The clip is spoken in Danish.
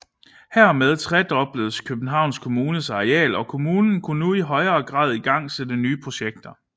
Hermed tredobledes Københavns Kommunes areal og kommunen kunne nu i højere grad igangsætte nye projekter